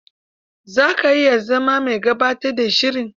Za ka iya zama mai gabatar da shiri.